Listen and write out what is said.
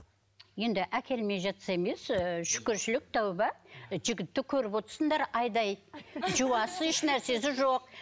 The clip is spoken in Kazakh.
енді әкелмей жатса емес ыыы шүкіршілік тәуба жігітті көріп айдай жуасы ешнәрсесі жоқ